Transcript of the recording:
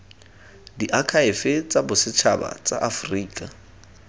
diakhaefe tsa bosetšhaba tsa aforika